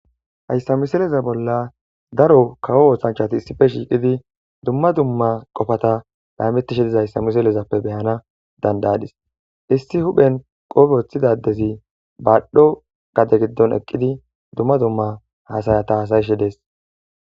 hayssa miseleza bolla daro kawo oohshanchati issife shiiqidi dumma dumma qofata baymetishe diza hayssa miselezappe beyana dandayadis isti huphen qoofe woththidadezi baadho gade giddon eqqidi dumma dumma hasayata hasayishe dees